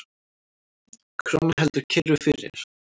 Krónan heldur kyrru fyrir